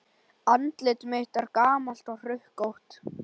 Andlit mitt er gamalt og hrukkótt.